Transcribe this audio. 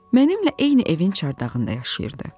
Mənimlə eyni evin çardağında yaşayırdı.